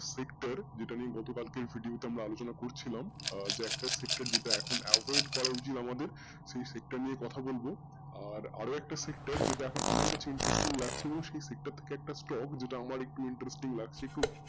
এটা নিয়ে গত কালকেই video তে আমরা আলোচনা করছিলাম আহ একটা sector যেটা এখন avoid করা উচিৎ আমাদের সেই sector নিয়ে কথা বলবো আর আরও একটা sector যেটা এখন আমার কাছে interesting লাগছিলো সেই sector থেকে একটা stock যেটা